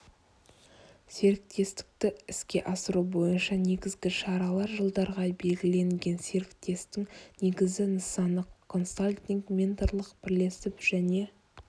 серіктестікті іске асыру бойынша негізгі шаралар жылдарға белгіленген серіктестің негізгі нысаны консалтинг менторлық бірлесіп және